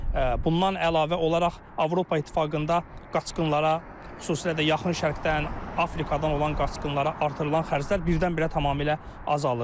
bundan əlavə olaraq Avropa İttifaqında qaçqınlara, xüsusilə də yaxın şərqdən, Afrikadan olan qaçqınlara artırılan xərclər birdən-birə tamamilə azalır.